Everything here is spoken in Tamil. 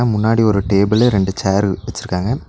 ம் முன்னாடி ஒரு டேபிளு ரெண்டு சேர்ரு வச்சுருக்காங்க.